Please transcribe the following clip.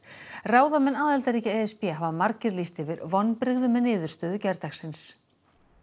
ráðamenn aðildarríkja e s b hafa margir lýst yfir vonbrigðum með niðurstöðu gærdagsins